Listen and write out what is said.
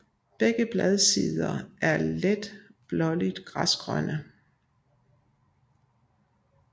Begge bladsider er let blåligt græsgrønne